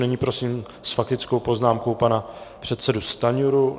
Nyní prosím s faktickou poznámkou pana předsedu Stanjuru.